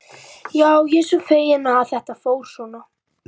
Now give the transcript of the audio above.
Já, ég er bara feginn að þetta fór svona.